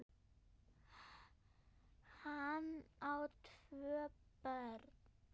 Hann á tvö börn.